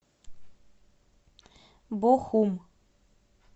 бохум